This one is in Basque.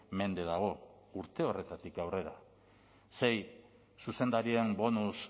mende dago urte horretatik aurrera sei zuzendarien bonus